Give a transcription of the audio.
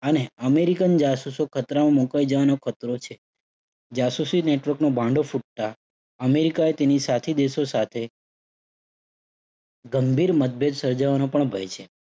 અને અમેરિકન જાસૂસો ખતરામાં મુકાઈ જવાનો ખતરો છે. જાસૂસી network નો ભાંડો ફૂટતા અમેરિકાએ તેની સાથી દેશો સાથે ગંભીર મતભેદ સર્જાવાનો પણ ભય છે.